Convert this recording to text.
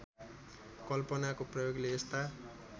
कल्पनाको प्रयोगले यस्ता